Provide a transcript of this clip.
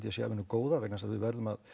að sé af hinu góða vegna þess að við verðum að